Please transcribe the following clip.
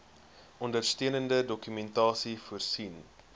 ondersteunende dokumentasie voorsien